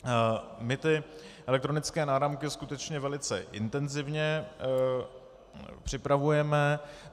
My ty elektronické náramky skutečně velice intenzivně připravujeme.